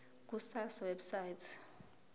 ku sars website